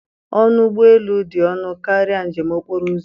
Ọnụ ụgbọ elu dị ọnụ karịa njem okporo ụzọ